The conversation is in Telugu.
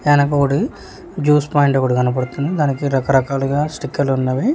వెనకొకటి జ్యూస్ పాయింట్ ఒకటి కనబడుతుంది దానికి రకరకాలుగా స్టిక్కర్లున్నవి .